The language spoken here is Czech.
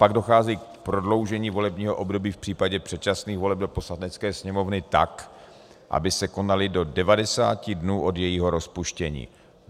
Pak dochází k prodloužení volebního období v případě předčasných voleb do Poslanecké sněmovny tak, aby se konaly do 90 dnů od jejího rozpuštění.